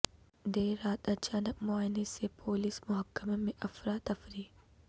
دیر رات اچانک معائنہ سے پولس محکمہ میں افر اتفری